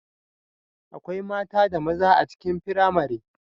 Akwai mata da maza a cikin firamare